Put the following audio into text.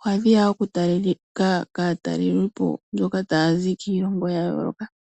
Ohadhi ya wo okutalika kaatalelipo mboka taya zi kiilongo ya yooloka.